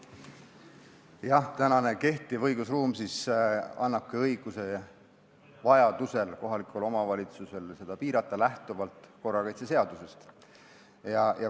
Jah, kehtiv õigusruum annabki kohalikule omavalitsusele õiguse vajaduse korral seda lähtuvalt korrakaitseseadusest piirata.